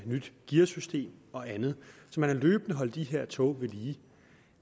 nyt gearsystem og andet man har løbende holdt de her tog ved lige